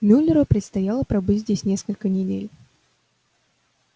мюллеру предстояло пробыть здесь несколько недель